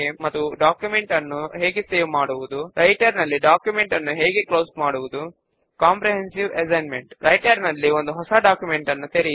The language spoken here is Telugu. ఇప్పుడు యాక్చుయల్ రిటర్న్ డేట్ ఫీల్డ్ లో 12711 అని టైప్ చేసి చెక్డిన్ ఫీల్డ్ ను చెక్ చేసి Enter ప్రెస్ చేయండి